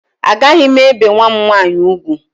Agaghị m ebe nwa m nwaanyị ugwu